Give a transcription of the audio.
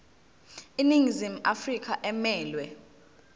iningizimu afrika emelwe